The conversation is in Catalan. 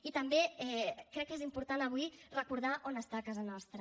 i també crec que és important avui recordar on està casa nostra